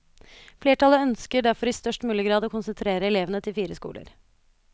Flertallet ønsker derfor i størst mulig grad å konsentrere elevene til fire skoler.